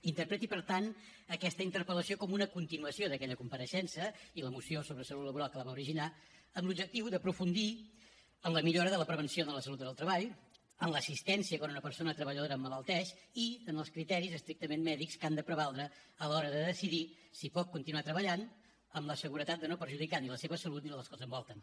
interpreti per tant aquesta interpel·lació com una continuació d’aquella compareixença i la moció sobre salut laboral que la va originar amb l’objectiu d’aprofundir en la millora de la prevenció de la salut en el treball en l’assistència quan una persona treballadora emmalalteix i en els criteris estrictament mèdics que han de prevaldre a l’hora de decidir si pot continuar treballant amb la seguretat de no perjudicar ni la seva salut ni la dels que l’envolten